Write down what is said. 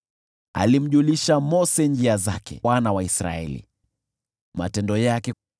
Alijulisha Mose njia zake, na wana wa Israeli matendo yake.